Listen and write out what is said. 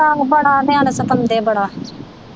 ਬੜਾ ਨਿਆਣੇ ਸਤਾਉਂਦੇ ਬੜਾ।